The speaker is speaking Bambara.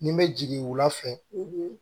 Ni bɛ jigin wula fɛ